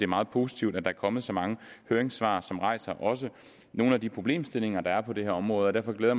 meget positivt at der er kommet så mange høringssvar som rejser nogle af de problemstillinger der er på det her område derfor glæder